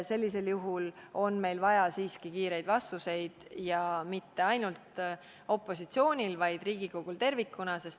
Sellisel juhul on meil vaja siiski kiireid vastused ja mitte ainult opositsioonil, vaid Riigikogul tervikuna.